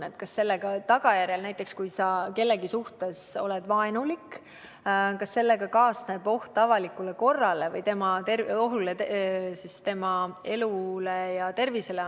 kas sellega, kui ollakse kellegi suhtes vaenulik, kaasneb oht avalikule korrale või kellegi elule ja tervisele.